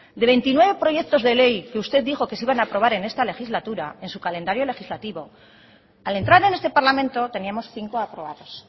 de veintinueve proyectos de ley que usted dijo que se iban a aprobar en esta legislatura en su calendario legislativo al entrar en este parlamento teníamos cinco aprobados